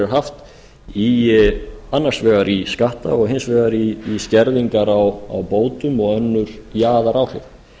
haft í annars vegar skatta og hins vegar í skerðingar á bótum og önnur jaðaráhrif